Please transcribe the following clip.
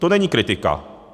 To není kritika.